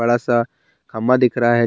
बड़ा सा खंभा दिख रहा है।